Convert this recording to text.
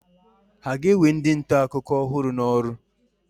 Ha ga-ewe ndị nta akụkọ ọhụrụ n'ọrụ?